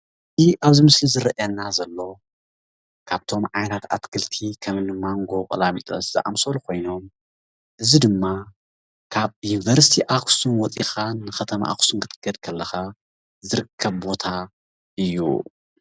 ኣብዚ ምስሊ ዝርኣየና ዘሎ ካብቶም ዓይነት ኣትክልቲ ከም ማንጎ ቆላሚጦስ ዝኣመሰሉ ኮይኖም እዚ ድማ ካብ ዩኒቨርስቲ ኣክሱም ወፂካ ንከተማ ኣክሱም ክትከይድ ከለካ ዝርከብ ቦታ እዩ።